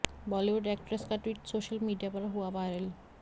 Bollywood actress का tweet social media पर हुआ वायरल